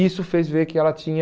Isso fez ver que ela tinha...